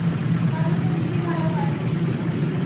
তাহলে তো খুবই ভালো হয়.